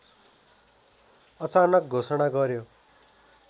अचानक घोषणा गर्‍यो